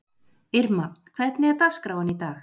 Irma, hvernig er dagskráin í dag?